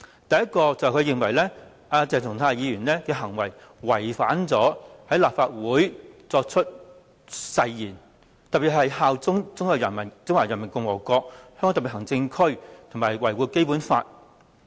第一，他認為鄭松泰議員的行為違反了在立法會作出的誓言，特別是效忠中華人民共和國香港特別行政區和維護《基本法》。